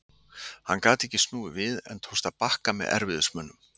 Hann gat ekki snúið við en tókst að bakka með erfiðismunum.